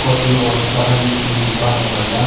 कॉफी और चाय की दुकान है बढ़िया।